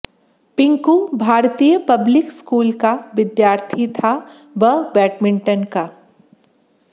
पिंकु भारतीय public school का विद्यार्थी था व बैडमिंटन का